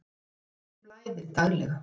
Þjóðinni blæðir daglega.